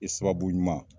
I sababu ɲuman